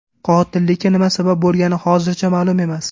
Qotillikka nima sabab bo‘lgani hozircha ma’lum emas.